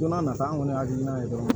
Don n'a nata an kɔni ye hakilina ye dɔrɔn